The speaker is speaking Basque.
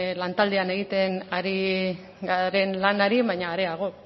lan taldean egiten ari garen lanari baina areago